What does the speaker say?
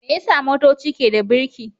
Me yasa motoci ke da birki?